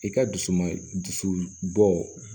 I ka dusu man dusu bɔ